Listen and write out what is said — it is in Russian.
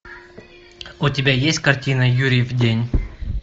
у тебя есть картина юрьев день